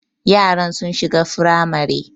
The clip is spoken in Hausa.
Yaran sun shiga firamare